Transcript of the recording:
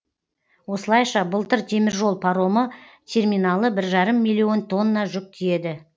осылайша былтыр теміржол паромы терминалы бір жарым миллион тонна жүк тиеді